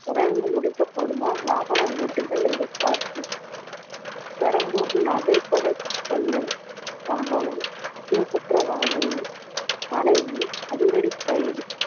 விரைந்து முடிக்கப்படுமா வாகன ஓட்டிகள் எதிர்பார்ப்பு பெரம்பூர் நகைக்கடை கொள்ளை சம்பவம் முக்கிய குற்றவாளியின் மனைவி அதிரடி கைது